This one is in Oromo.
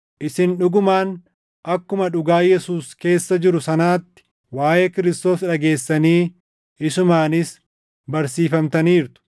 isin dhugumaan akkuma dhugaa Yesuus keessa jiru sanaatti waaʼee Kiristoos dhageessanii isumaanis barsiifamtaniirtu.